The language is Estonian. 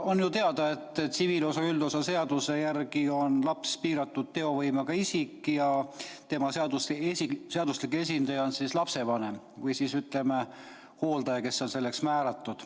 On ju teada, et tsiviilseadustiku üldosa seaduse järgi on laps piiratud teovõimega isik ja tema seaduslik esindaja on lapsevanem või hooldaja, kes on selleks määratud.